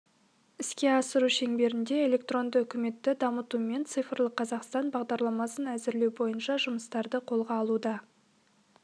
іске асыру шеңберінде электронды үкіметті дамыту мен цифрлық қазақстан бағдарламасын әзірлеу бойынша жұмыстарды қолға алуда